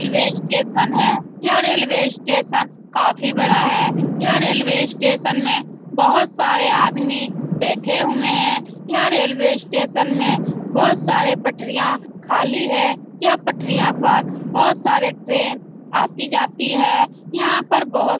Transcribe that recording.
railway station है यह railway station काफी बड़ा है यह रेल्वे स्टेशन में बहुत सारे आदमी बैठे हुए हैं यह रेल्वे स्टेशन में बहुत सारी पटरियाँ खली हैं यह पटरियाँ पर बहुत सारे ट्रेन आती-जाती हैं यहाँ पर बहुत --